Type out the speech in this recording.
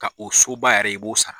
Ka o soba yɛrɛ i b'o sara.